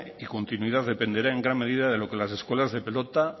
y continuidad dependerá en gran medida de lo que las escuelas de pelota